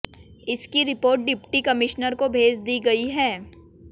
इसकी report deputy commissioner को भेज दी गई है